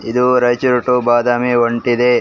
ಇದು ರೈಚೂರು ಟು ಬಾದಾಮಿ ಹೊಂಟಿದೆ.